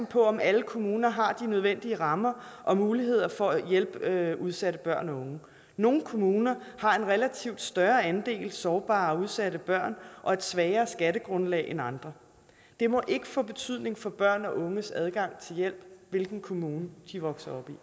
på om alle kommuner har de nødvendige rammer og muligheder for at hjælpe udsatte børn og unge nogle kommuner har en relativt større andel sårbare og udsatte børn og et svagere skattegrundlag end andre det må ikke få betydning for børn og unges adgang til hjælp hvilken kommune de vokser